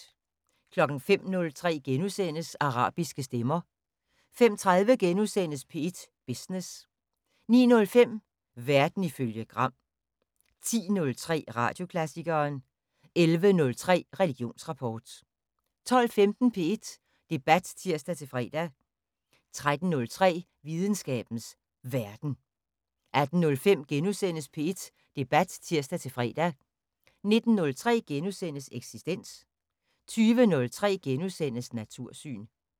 05:03: Arabiske stemmer * 05:30: P1 Business * 09:05: Verden ifølge Gram 10:03: Radioklassikeren 11:03: Religionsrapport 12:15: P1 Debat (tir-fre) 13:03: Videnskabens Verden 18:05: P1 Debat *(tir-fre) 19:03: Eksistens * 20:03: Natursyn *